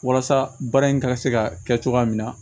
Walasa baara in ka se ka kɛ cogoya min na